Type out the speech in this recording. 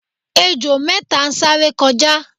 ejò méta sáré kọjá